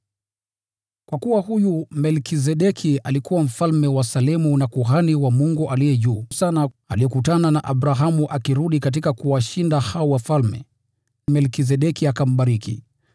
Kwa kuwa huyu Melkizedeki alikuwa mfalme wa Salemu na kuhani wa Mungu Aliye Juu Sana. Alipokutana na Abrahamu akirudi kutoka kuwashinda hao wafalme, Melkizedeki alimbariki,